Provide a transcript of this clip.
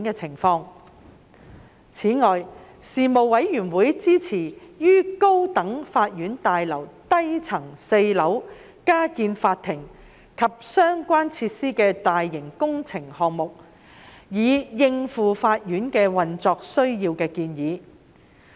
此外，事務委員會支持於高等法院大樓低層4樓加建法庭及相關設施的大型工程項目，以應付法院的運作需要的建議。